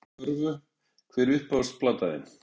Fylgist aðeins með körfu Hver er uppáhalds platan þín?